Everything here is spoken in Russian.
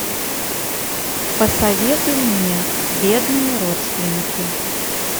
посоветуй мне бедные родственники